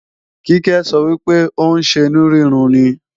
Kíkẹ́ sọ wípé ò ń ṣenú rúnrun ni